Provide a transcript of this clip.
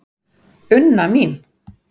Unna mín.